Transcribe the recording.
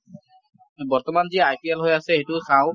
বৰ্তমান যি IPL হৈ আছে সেইটোও চাওঁ ।